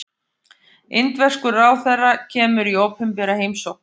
Indverskur ráðherra kemur í opinbera heimsókn